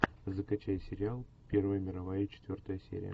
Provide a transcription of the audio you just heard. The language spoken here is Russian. закачай сериал первая мировая четвертая серия